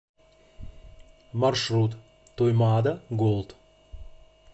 маршрут туймаада голд